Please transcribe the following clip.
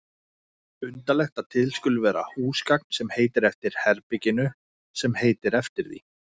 Undarlegt að til skuli vera húsgagn sem heitir eftir herberginu sem heitir eftir því.